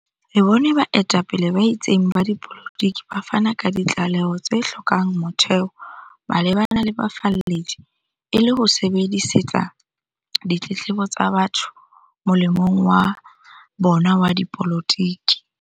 Re bone baetapele ba itseng ba dipolotiki ba fana ka ditlaleho tse hlo kang motheo malebana le bafalledi, e le ho sebedisetsa ditletlebo tsa batho molemong wa bona wa dipolotiki.